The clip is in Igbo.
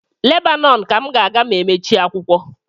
Lebanon ka m ga-aga ma emechie ụlọakwụkwọ